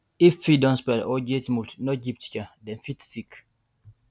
if feed don spoil or get mould no give chicken dem fit sick